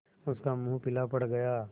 उसका मुख पीला पड़ गया